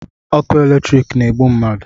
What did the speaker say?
ọkụ eletriki na-egbu mmadụ